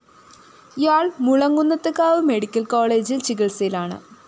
ഇയാള്‍ മുളങ്കുന്നത്ത്കാവ് മെഡിക്കൽ കോളേജില്‍ ചികിത്സയിലാണ്